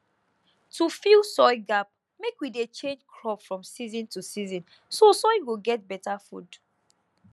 to fill soil gap mek we dey change crop from season to season so soil go get better food